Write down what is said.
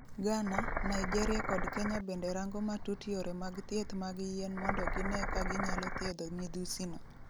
Ghana, Naijeria kod Kenya bende rango matut yore mag thieth mag yien mondo gine ka ginyalo thiedho midhusi no.